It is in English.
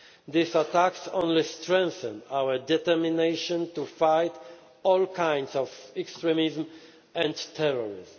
These attacks only strengthen our determination to fight all kinds of extremism and terrorism.